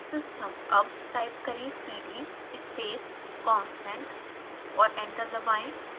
अब टाइप करें cd space constant और एंटर दबाएं